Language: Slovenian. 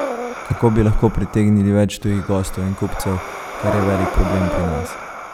Kako bi lahko pritegnili več tujih gostov in kupcev, kar je velik problem pri nas.